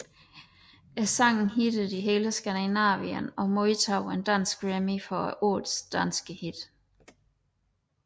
Sangen hittede i hele Skandinavien og modtog en Dansk Grammy for Årets danske hit